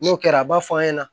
N'o kɛra a b'a fɔ an ɲɛna